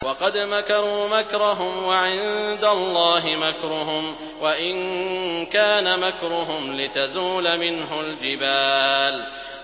وَقَدْ مَكَرُوا مَكْرَهُمْ وَعِندَ اللَّهِ مَكْرُهُمْ وَإِن كَانَ مَكْرُهُمْ لِتَزُولَ مِنْهُ الْجِبَالُ